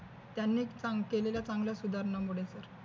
त्यांनीच केलेल्या चांगल्या सुधारणांमुळे